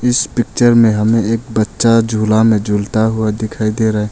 इस पिक्चर में हमें एक बच्चा झूला झूलता हुआ दिखाई दे रहा है।